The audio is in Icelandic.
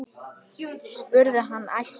spurði hann æstur.